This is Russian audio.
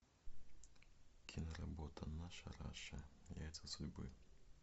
киноработа наша раша яйца судьбы